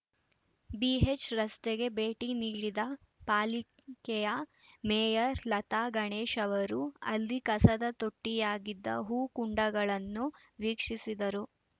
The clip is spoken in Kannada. ಬಿ ಎಚ್‌ ರಸ್ತೆಗೆ ಭೇಟಿ ನೀಡಿದ ಪಾಲಿಕೆಯ ಮೇಯರ್‌ ಲತಾ ಗಣೇಶ್‌ ಅವರು ಅಲ್ಲಿ ಕಸದ ತೊಟ್ಟಿಯಾಗಿದ್ದ ಹೂ ಕುಂಡಗಳನ್ನು ವೀಕ್ಷಿಸಿದರು